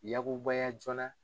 Yagubaya joona.